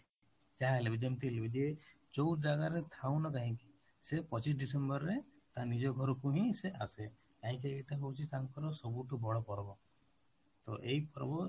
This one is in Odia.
ଯାହା ହେଲେ ବି ଯେମିତି ହେଲେ ବି ଯେ ଯୋଉ ଜାଗାରେ ରେ ଥାଉ ନା କାହିଁକି ସେ ପଚିଶ ଡ଼ିସେମ୍ବର ରେ ତା ନିଜ ଘରକୁ ହିଁ ସେ ଆସେ, କାହିଁକି ଏଇଟା ହଉଛି ତାଙ୍କର ସବୁଠୁ ବଡ ପର୍ବ, ତ ଏଇ ପର୍ବ